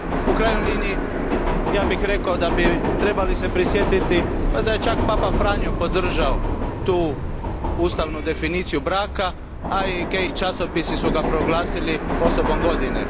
U krajnjoj liniji, ja bih rekao da bi trebali se prisjetiti da je čak papa Franjo podržao tu ustavnu definiciju braka, a i časopisi su ga proglasili osobom godine.